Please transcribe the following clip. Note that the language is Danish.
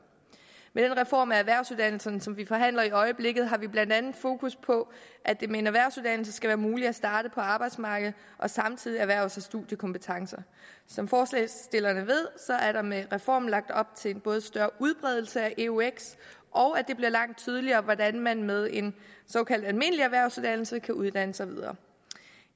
med den reform af erhvervsuddannelserne som vi forhandler i øjeblikket har vi blandt andet fokus på at det med en erhvervsuddannelse skal være muligt at starte på arbejdsmarkedet og samtidig erhverve sig studiekompetencer som forslagsstillerne ved er der med reformen lagt op til både større udbredelse af eux og at det bliver langt tydeligere hvordan man med en såkaldt almindelig erhvervsuddannelse kan uddanne sig videre